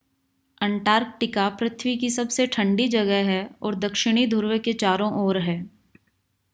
Antarctica पृथ्वी की सबसे ठंडी जगह है और दक्षिणी ध्रुव के चारों ओर है